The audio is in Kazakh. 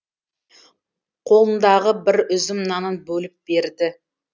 қолындағы бір үзім нанын бөліп берді